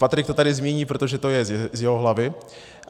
Patrik to tady zmíní, protože to je z jeho hlavy.